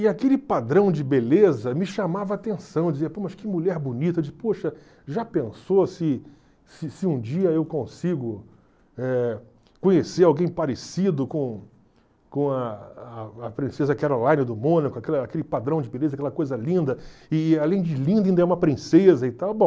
E aquele padrão de beleza me chamava a atenção, eu dizia, pô, mas que mulher bonita, poxa, já pensou se se se um dia eu consigo eh conhecer alguém parecido com com a a a princesa Caroline do Mônaco, aquela aquele padrão de beleza, aquela coisa linda, e além de linda ainda é uma princesa e tal, bom.